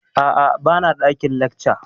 Aa, ba na ɗakin lacca